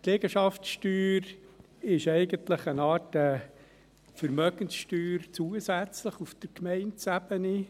Die Liegenschaftssteuer ist eigentlich eine Art zusätzliche Vermögenssteuer auf Gemeindeebene.